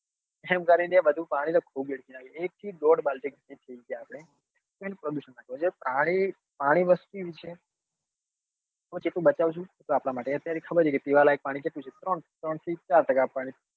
એમ કરી ને બધું પાણી તો ખુબ વેડફી નાખે એક થી દોડ બાલટી ગણી થઇ ગઈ આપડે પાણી પાણી વસ્તુ એવી છે ટીપું ટીપું બચાવીસું તો આપડા માટે અત્યારે ખબર છે કે પીવા લાયક પાણી કેટલું છે ત્રણ કે ત્રણ થી ચાર ટકા